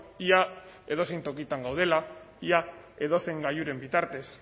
ia edozein tokitan gaudela ia edozein gailuren bitartez